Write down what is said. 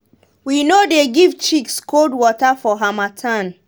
we no dey give chicks cold water for harmattan.